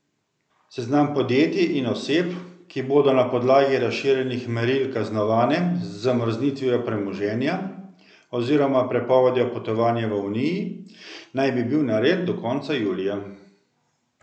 Seznam podjetij in oseb, ki bodo na podlagi razširjenih meril kaznovane z zamrznitvijo premoženja oziroma prepovedjo potovanja v uniji, naj bi bil nared do konca julija.